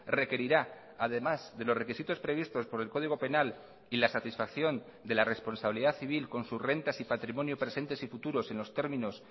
requerirá además de los requisitos previstos por el código penal y la satisfacción de la responsabilidad civil con sus rentas y patrimonios presentes y futuros en los términos